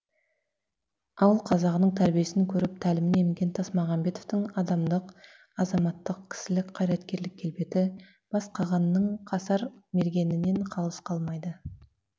ауыл қазағының тәрбиесін көріп тәлімін емген тасмағамбетовтің адамдық азаматтық кісілік қайраткерлік келбеті бас қағанның қасар мергенінен қалыс қалмайды